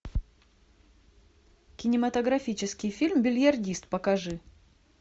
кинематографический фильм бильярдист покажи